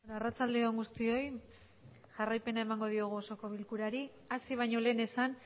arratsaldeon guztioi jarraipen emandiogu osoko bilkurari hasi bañolen esan